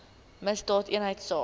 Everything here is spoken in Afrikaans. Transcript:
misdaadeenheidsaak